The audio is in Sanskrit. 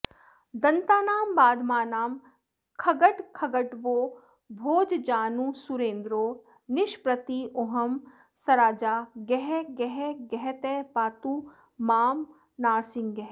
दन्तानां बाधमानां खगटखगटवो भोजजानुस्सुरेन्द्रो निष्प्रत्यूहं सराजा गहगहगहतः पातु मां नारसिंहः